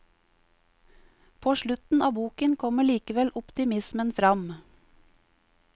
På slutten av boken kommer likevel optimismen fram.